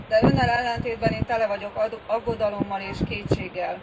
De Önnel ellentétben én tele vagyok aggodalommal és kétséggel.